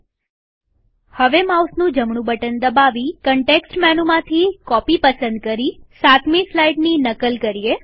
હવે સાતમી સ્લાઈડની માઉસનું જમણું બટન દબાવીકન્ટેકસ્ટ મેનુમાંથી કોપી પસંદ કરી નકલ કરીએ